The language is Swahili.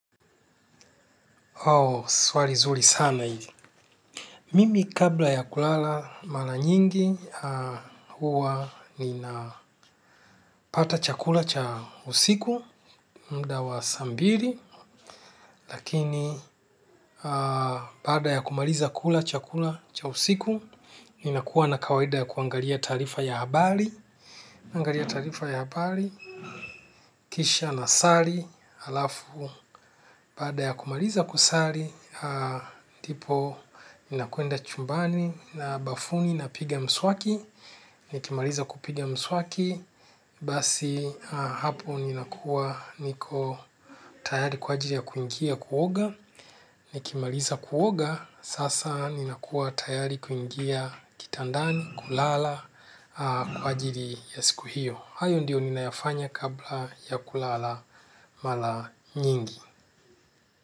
Swali nzuri sana hili, mimi kabla ya kulala mara nyingi huwa ninapata chakula cha usiku muda wa saa mbili lakini baada ya kumaliza kula chakula cha usiku ninakuwa na kawaida ya kuangalia taarifa ya habari. Naangalia taarifa ya habari kisha na sari, halafu baada ya kumaliza kusari ndipo ninakwenda chumbani na bafuni napiga mswaki, nikimaliza kupiga mswaki, basi hapo ninakuwa niko tayari kwa ajiri ya kuingia kuoga, nikimaliza kuoga, sasa nina kuwa tayari kuingia kitandani, kulala, kwa ajiri ya siku hiyo. Hayo ndio ninayofanya kabla ya kulala mara nyingi.